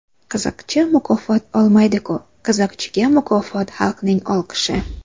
Qiziqchi mukofot olmaydi-ku, qiziqchiga mukofot xalqning olqishi.